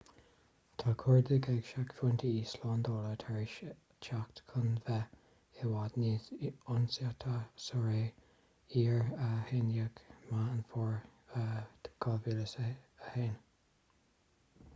tá cuardaigh ag seicphointí slándála tar éis teacht chun bheith i bhfad níos ionsáití sa ré iar-11 meán fómhair 2001